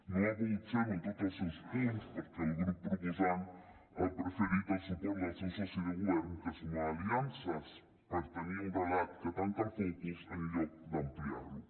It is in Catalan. no ha pogut ser·ho en tots els seus punts perquè el grup proposant ha preferit el suport del seu soci de govern que sumar aliances per tenir un relat que tanca el focus en lloc d’ampliar·lo